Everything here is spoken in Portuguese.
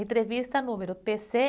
Entrevista número pê-cê